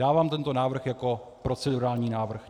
Dávám tento návrh jako procedurální návrh.